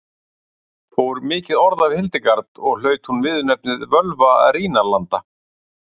Fór mikið orð af Hildegard og hlaut hún viðurnefnið Völva Rínarlanda.